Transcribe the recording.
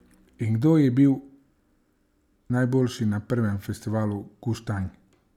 In kdo je bil najboljši na prvem festivalu Guštanj?